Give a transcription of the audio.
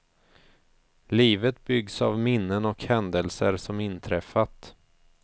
Livet byggs av minnen och händelser som inträffat.